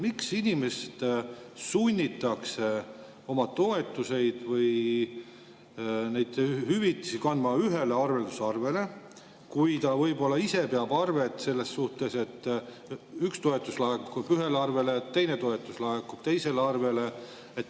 Miks inimest sunnitakse oma toetusi või hüvitisi laskma kanda ühele arveldusarvele, kui ta võib-olla ise peab selles suhtes arvet, et üks toetus laekub ühel arvele, teine toetus laekub teisele arvele?